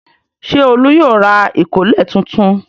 Ṣé Olú yóò ra ìkọ́lẹ̀ tuntun?